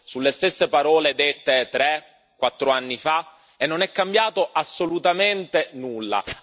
sulle stesse parole dette tre quattro anni fa, e non è cambiato assolutamente nulla.